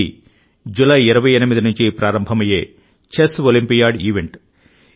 ఇది జులై 28 నుంచి ప్రారంభమయ్యే చెస్ ఒలింపియాడ్ ఈవెంట్